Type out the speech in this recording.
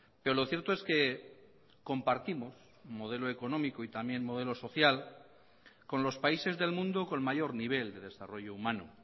pero lo cierto es que compartimos modelo económico y también modelo social con los países del mundo con mayor nivel de desarrollo humano